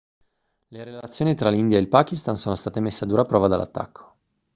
le relazioni tra l'india e il pakistan sono state messe a dura prova dall'attacco